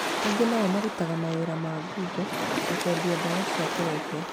Angĩ nao marutaga mawĩra ma ngungo ta kwendia dawa cia kũrebia